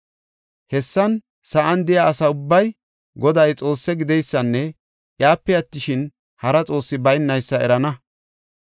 Hessan, sa7an de7iya asa ubbay Goday Xoosse gideysanne iyape attishin, hara xoossi baynaysa erana.